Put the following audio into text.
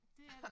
Dét er det